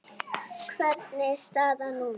Hvernig er staðan núna?